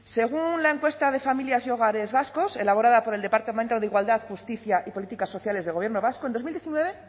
según una encuesta de familias y hogares vascos elaborada por el departamento de igualdad justicia y políticas sociales del gobierno vasco en dos mil diecinueve